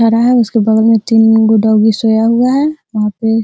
ठहरा है उसके बगल मे तीन गो डौगी सोया हुआ है | वहाँ पे --